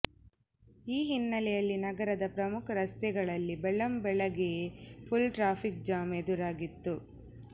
ಈ ಹಿನ್ನೆಲೆಯಲ್ಲಿ ನಗರದ ಪ್ರಮುಖ ರಸ್ತೆಗಳಲ್ಲಿ ಬೆಳ್ಳಂ ಬೆಳಗ್ಗೆಯೇ ಫುಲ್ ಟ್ರಾಫಿಕ್ ಜಾಮ್ ಎದುರಾಗಿತ್ತು